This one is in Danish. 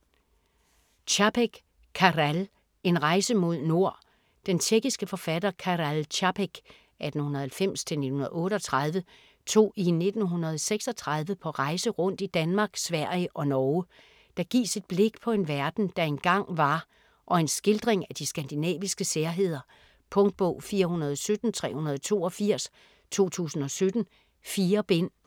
Čapek, Karel: En rejse mod nord Den tjekkiske forfatter Karel Čapek (1890-1938) tog i 1936 på rejse rundt i Danmark, Sverige og Norge. Der gives et blik på en verden, der engang var, og en skildring af de skandinaviske særheder. Punktbog 417382 2017. 4 bind.